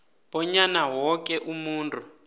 bonyana woke umuntu